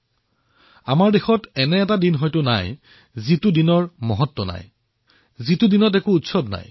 বোধহয় আমাৰ দেশত গুৰুত্ব নথকা উৎসৱ নথকা দিন নায়েই